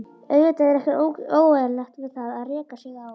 Auðvitað er ekkert óeðlilegt við það að reka sig á.